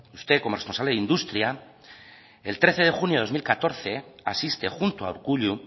usted como responsable de industria el trece de junio de dos mil catorce asiste junto a urkullu